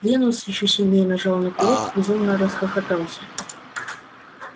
венус ещё сильнее нажал на курок и безумно расхохотался